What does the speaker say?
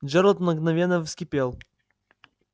джералд мгновенно вскипел